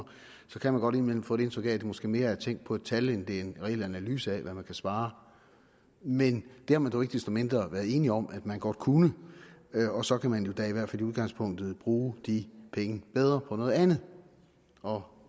så kan man godt indimellem få indtryk af at det måske mere er tænk på et tal end en reel analyse af hvad der kan spares men det har man dog ikke desto mindre været enige om man godt kunne og så kan man jo da i hvert fald i udgangspunktet bruge de penge bedre på noget andet og